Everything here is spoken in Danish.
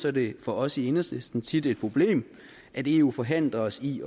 er det for os i enhedslisten tværtimod tit et problem at eu forhindrer os i